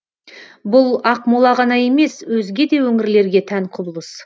бұл ақмола ғана емес өзге де өңірлерге тән құбылыс